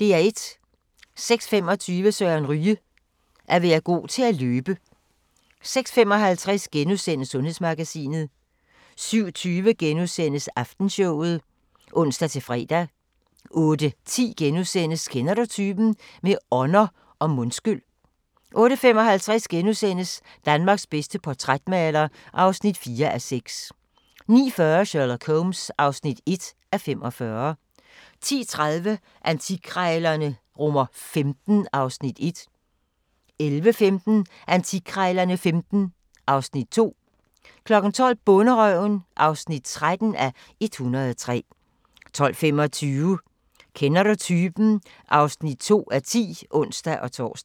06:25: Søren Ryge: At være god til at løbe 06:55: Sundhedsmagasinet * 07:20: Aftenshowet *(ons-fre) 08:10: Kender du typen? – med ånder og mundskyl * 08:55: Danmarks bedste portrætmaler (4:6)* 09:40: Sherlock Holmes (1:45) 10:30: Antikkrejlerne XV (Afs. 1) 11:15: Antikkrejlerne XV (Afs. 2) 12:00: Bonderøven (13:103) 12:25: Kender du typen? (2:10)(ons-tor)